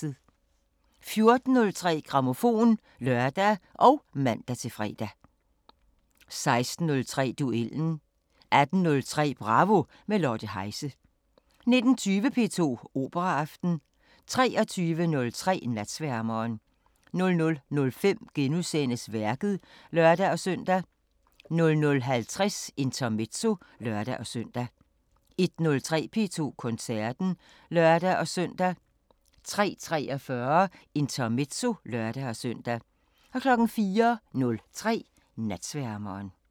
14:03: Grammofon (lør og man-fre) 16:03: Duellen 18:03: Bravo – med Lotte Heise 19:20: P2 Operaaften 23:03: Natsværmeren 00:05: Værket *(lør-søn) 00:50: Intermezzo (lør-søn) 01:03: P2 Koncerten (lør-søn) 03:43: Intermezzo (lør-søn) 04:03: Natsværmeren